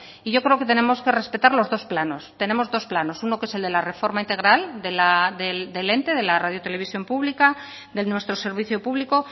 y yo creo que tenemos que respetar los dos planos tenemos dos planos uno que es el de la reforma integral del ente de la radio televisión pública de nuestro servicio público